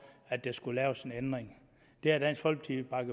at der skulle laves en ændring det har dansk folkeparti